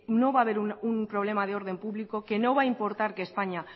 no va a haber ningún problema de orden público que no va a importar que españa